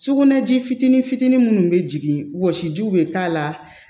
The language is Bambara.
Sugunɛji fitinin fitinin minnu bɛ jigin wɔsi jiw bɛ k'a la